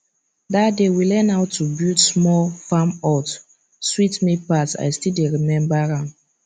that day we learn how to build small farm hut sweet me pass i still dey remember am